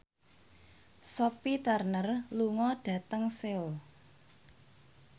Sophie Turner lunga dhateng Seoul